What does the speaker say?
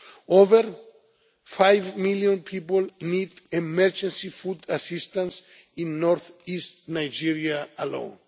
Over five million people need emergency food assistance in North East Nigeria alone.